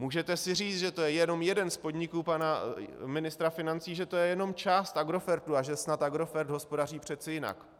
Můžete si říct, že to je jenom jeden z podniků pana ministra financí, že to je jenom část Agrofertu a že snad Agrofert hospodaří přeci jinak.